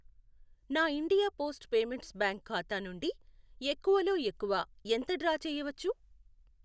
నా India post payments bank ఖాతా నుండి ఎక్కువలో ఎక్కువ ఎంత డ్రా చేయవచ్చు?